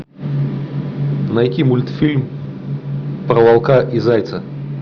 найти мультфильм про волка и зайца